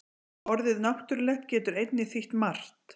Orðið náttúrulegt getur einnig þýtt margt.